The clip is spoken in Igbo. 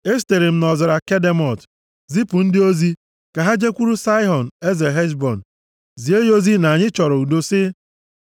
Esitere m nʼọzara Kedemot zipụ ndị ozi, ka ha jekwuru Saịhọn, eze Heshbọn, zie ya ozi na anyị chọrọ udo, sị,